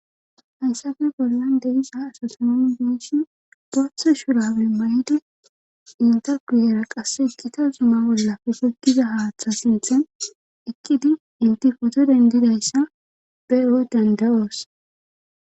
Hayssafe bollan deisaha asatamam beeshin gathe shurabemayidi inta guyera qasse ekkita zuma bollafe fegiza haaththa sinthen ekkidi intifoto dendidayssa be e7o danda7oos.